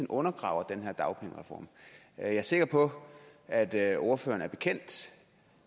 undergraver den her dagpengereform jeg er sikker på at at ordføreren er bekendt